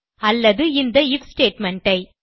அல்லது இந்த IF statement I